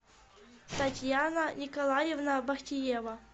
татьяна николаевна бахтиева